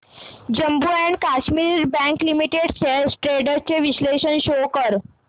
Jammu and Kashmir bank limited shares trends चे विश्लेषण show कर